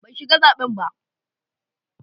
Ban shiga zaben ba.